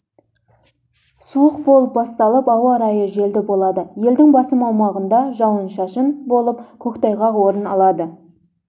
суық болып басталып ауа райы желді болады елдің басым аумағында жауын-шашын болып көктайғақ орын алады